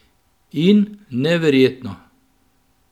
In, neverjetno!